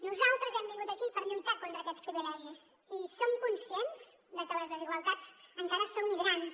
nosaltres hem vingut aquí per lluitar contra aquests privilegis i som conscients de que les desigualtats encara són grans